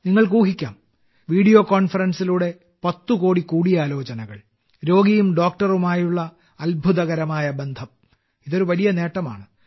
നിങ്ങൾക്ക് ഊഹിക്കാം വീഡിയോ കോൺഫറൻസിലൂടെ 10 കോടി കൂടിയാലോചനകൾ രോഗിയും ഡോക്ടറുമായുള്ള അത്ഭുതകരമായ ബന്ധം ഇതൊരു വലിയ നേട്ടമാണ്